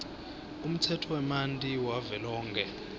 umtsetfo wemanti wavelonkhe